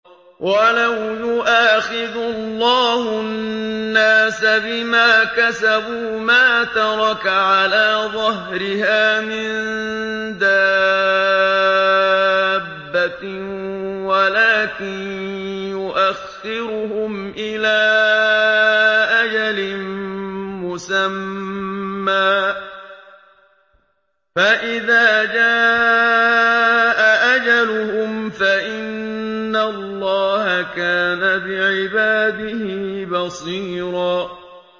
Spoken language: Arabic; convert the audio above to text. وَلَوْ يُؤَاخِذُ اللَّهُ النَّاسَ بِمَا كَسَبُوا مَا تَرَكَ عَلَىٰ ظَهْرِهَا مِن دَابَّةٍ وَلَٰكِن يُؤَخِّرُهُمْ إِلَىٰ أَجَلٍ مُّسَمًّى ۖ فَإِذَا جَاءَ أَجَلُهُمْ فَإِنَّ اللَّهَ كَانَ بِعِبَادِهِ بَصِيرًا